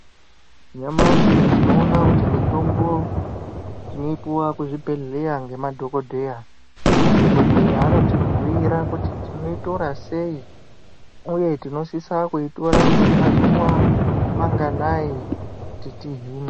Nyamashi tinoona kuti mitombo tinoipuwa kuzvibhehleya ngemadhogodheya. Madhogodheya anotibhuira kuti tinoitora sei uye tinosisa kuitora kwemazuva manganayi kuti tihinwe.